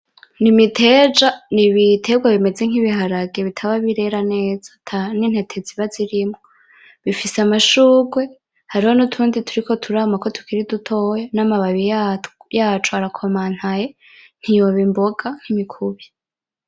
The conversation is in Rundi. N'imiteja. N'ibiterwa bimeze nk'ibiharage bitaba birera neza, ata nintete ziba zirimwo. Zifise amashurwe, hariho nutundi turiko turamako tukiri dutoya. Namababi yatwo yaco arakomantaye ntiyoba imboga nimikubi.